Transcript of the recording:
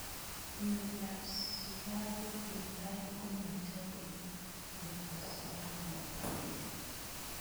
Mnyendi ab sukaruk netai komachobei borto sukarik chik.